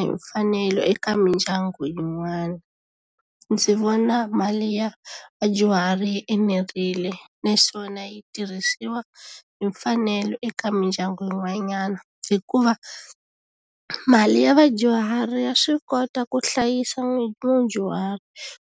Hi mfanelo eka mindyangu yin'wana ndzi vona mali ya vadyuhari yi enerile naswona yi tirhisiwa hi mfanelo eka mindyangu yin'wanyana hikuva mali ya vadyuhari ya swi kota ku hlayisa mudyuhari